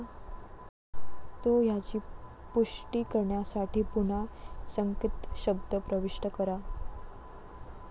तो याची पुष्टी करण्यासाठी पुन्हा संकेतशब्द प्रविष्ट करा.